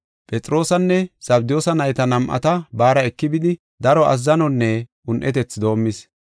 Phexroosanne Zabdiyoosa nayta nam7ata baara eki bidi daro azzanonne un7etethi doomis.